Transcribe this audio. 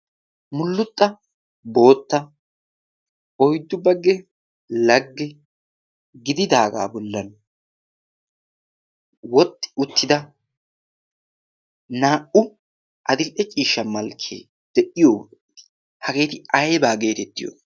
Mulluxxa bootta oyddu bagge lagge gididaagaa bollan wotti uttida naa'u adil'e ciishsha malkkee de'iyo hageeti aybaa geetettiyo?